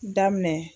Daminɛ